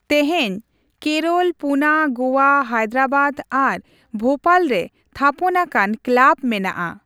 ᱛᱮᱦᱮᱧ, ᱠᱮᱨᱚᱞ, ᱯᱩᱱᱟ, ᱜᱳᱣᱟ, ᱦᱟᱭᱫᱨᱟᱵᱟᱫᱽ, ᱟᱨ ᱵᱷᱳᱯᱟᱞ ᱨᱮ ᱛᱷᱟᱯᱚᱱ ᱟᱠᱟᱱ ᱠᱞᱟᱵᱽ ᱢᱮᱱᱟᱜᱼᱟ ᱾